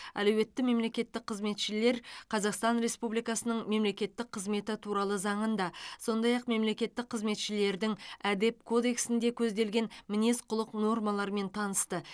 әлеуетті мемлекеттік қызметшілер қазақстан республикасының мемлекеттік қызметі туралы заңында сондай ақ мемлекеттік қызметшілердің әдеп кодексінде көзделген мінез құлық нормаларымен танысты